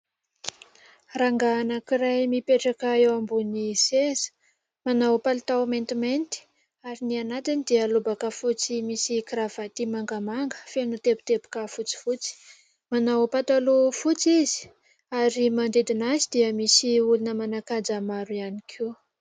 Rangahy anankiray mipetraka eo ambony seza, manao palitao maintimainty ary ny anatiny dia lobaka fotsy misy kravaty mangamanga feno no teboteboka fotsifotsy. Manao pataloha fotsy izy ary manodidina azy dia misy olona manan-kaja maro ihany koa.